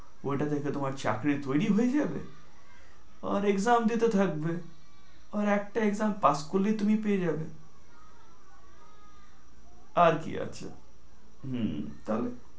ঐটা দেখলে তোমার চাকরির তৈরী হয়ে যাবে, আর exam দিতে থাকবে। আর একটা exam pass করলেই তুমি পেয়ে যাবে। আর কি আছে? হুহ, তাহলে